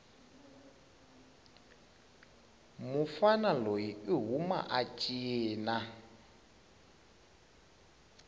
mufana loyi ihhuma achina